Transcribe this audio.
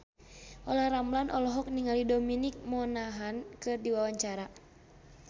Olla Ramlan olohok ningali Dominic Monaghan keur diwawancara